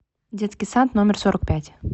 детский сад номер сорок пять